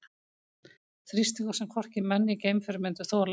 Þrýstingur sem hvorki menn né geimför myndu þola.